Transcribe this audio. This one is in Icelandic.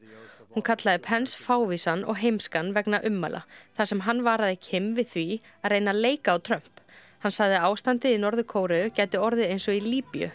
hún kallaði fávísan og heimskan vegna ummæla þar sem hann varaði við því að reyna að leika á Trump hann sagði að ástandið í Norður Kóreu gæti orðið eins og í Líbíu